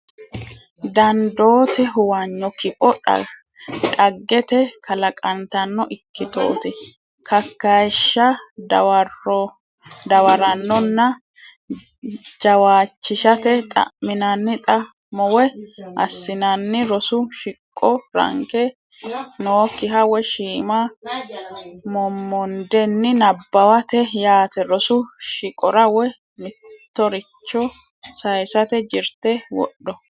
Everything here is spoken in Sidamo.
dandooti huwanyo Kipho Dhaggete kalaqantanno ikkitooti Kakkayishsha Dawarannoha jawaachishate xa minanni xa mo woy assinanni rosu shiqqo Ranke nookkiha woy shiima mommondenni nabbawate yaate Rosu shiqqora woy mittoricho sayisate jirte wodho.